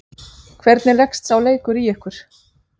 Hvernig leggst sá leikur í ykkur?